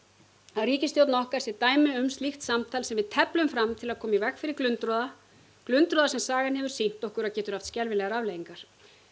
að ríkisstjórnin okkar sé dæmi um slíkt samtal sem við teflum fram til að koma í veg fyrir glundroða glundroða sem sagan hefur sýnt okkur að getur haft skelfilegar afleiðingar